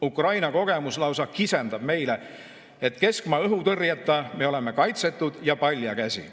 Ukraina kogemus lausa kisendab meile, et keskmaa-õhutõrjeta me oleme kaitsetud ja paljakäsi.